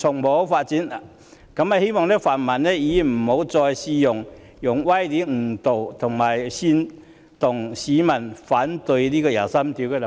我希望泛民議員不要再用歪理誤導和煽動市民反對就第二十三條立法。